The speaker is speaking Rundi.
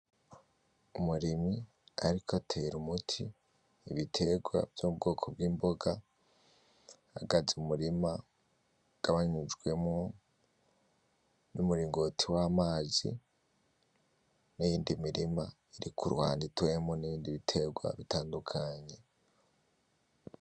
Umurimyi ariko atera umuti ibitegwa vyo mubwoko bw'imboga ahagaze mu murima ugabanyijwemwo n'umuringoti w'amazi n'iyindi mirima iri kuruhande iteyemwo n'ibindi bitegwa bitandukanye.